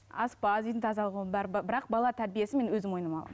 аспаз үйдің тазалығы оның бәрі бірақ бала тәрбиесі мен өзім мойныма аламын